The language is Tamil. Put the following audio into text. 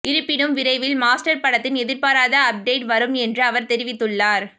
இருப்பினும் விரைவில் மாஸ்டர் படத்தின் எதிர்பாராத அப்டேட் வரும் என்றும் அவர் தெரிவித்துள்ளார்